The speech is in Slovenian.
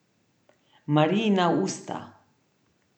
Marijina usta.